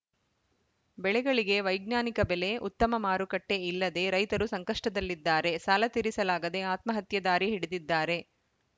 ಬೆಳೆಗಳಿಗೆ ವೈಜ್ಞಾನಿಕ ಬೆಲೆ ಉತ್ತಮ ಮಾರುಕಟ್ಟೆಇಲ್ಲದೆ ರೈತರು ಸಂಕಷ್ಟದಲ್ಲಿದ್ದಾರೆ ಸಾಲ ತೀರಿಸಲಾಗದೆ ಆತ್ಮಹತ್ಯೆ ದಾರಿ ಹಿಡಿದಿದ್ದಾರೆ